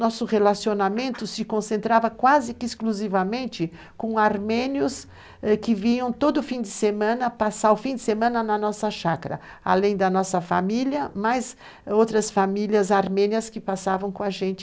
Nosso relacionamento se concentrava quase que exclusivamente com armênios que vinham todo fim de semana passar o fim de semana na nossa chácara, além da nossa família, mas outras famílias armênias que passavam com a gente.